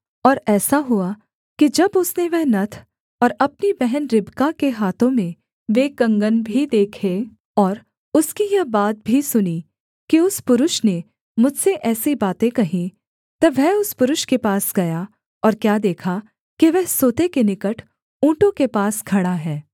और ऐसा हुआ कि जब उसने वह नत्थ और अपनी बहन रिबका के हाथों में वे कंगन भी देखे और उसकी यह बात भी सुनी कि उस पुरुष ने मुझसे ऐसी बातें कहीं तब वह उस पुरुष के पास गया और क्या देखा कि वह सोते के निकट ऊँटों के पास खड़ा है